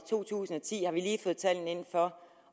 to tusind og ti